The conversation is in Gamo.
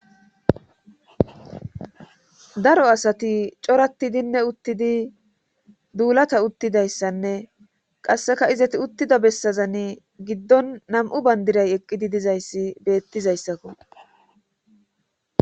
Daro asati coratidinne uttidi duulata uttidayssanne qasseka izati uttida bessazanne giddon nam'u bandiray eqqidi dizayssi beettizayssakko